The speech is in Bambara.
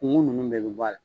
Kun kun nunnu bɛɛ bɛ b'ɔ ala.